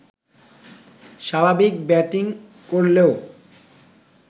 স্বাভাবিক ব্যাটিং করলেও